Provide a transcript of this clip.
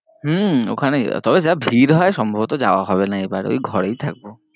হম ঐখানে তবে যা ভিড় হয়ে সম্ভবত যাওয়া হবে না এবার ঐ ঘরেই থাকবো।